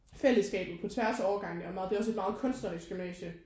Fællesskabet på tværs af årgange er meget det er også et meget kunstnerisk gymnasie